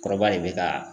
Kɔrɔba de bɛ ka